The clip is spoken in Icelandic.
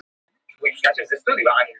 Gæti það hafa komið utan úr geimnum?